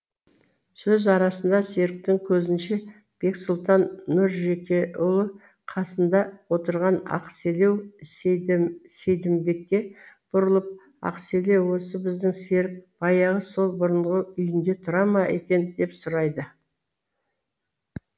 сөз арасында серіктің көзінше бексұлтан нұржекеұлы қасында отырған ақселеу сейдімбекке бұрылып ақселеу осы біздің серік баяғы сол бұрынғы үйінде тұра ма екен деп сұрайды